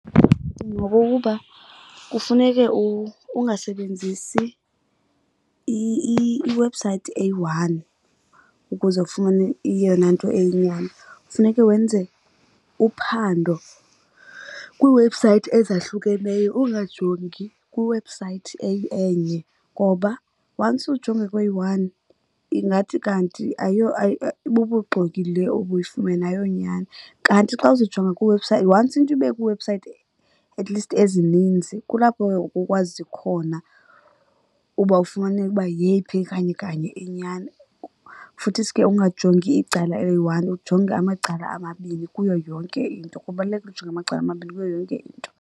Ngokokuba kufuneke ungasebenzisi iwebhusayithi eyi-one ukuze ufumane eyona nto eyinyani. Funeke wenze uphando kwiiwebhusayithi ezahlukeneyo, ungajongi kwiwebhusayithi enye ngoba once ujonge kweyi-one, ingathi kanti ayiyo bubuxoki le ubuyifumene ayiyonyani. Kanti xa uzowujonga, once into ibe kwiiwebhusayithi at least ezininzi, kulapho ke ngoku ukwazi khona uba ufumaneke uba yeyiphi kanye kanye inyani. Futhisi ke ungajongi icala eliyi-one, ujonge amacala amabini kuyo yonke into. Kubalulekile ujonga amacala amabini kuyo yonke into.